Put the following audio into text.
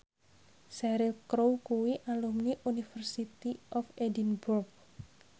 Cheryl Crow kuwi alumni University of Edinburgh